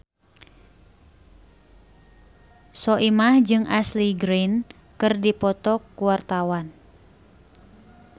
Soimah jeung Ashley Greene keur dipoto ku wartawan